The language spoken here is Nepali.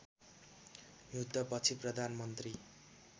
युद्ध पछि प्रधानमन्त्री